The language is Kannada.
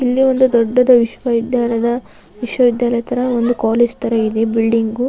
ಇಲ್ಲಿ ಒಂದು ದೊಡ್ಡದು ವಿಶ್ವ ವಿದ್ಯಾಲಯದ ವಿಶ್ವವಿದ್ಯಾಲಯ ತರ ಒಂದು ಕಾಲೇಜ್ ತರ ಇದೆ ಬಿಲ್ಡಿಂಗ್ ಉ --